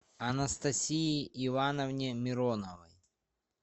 анастасии ивановне мироновой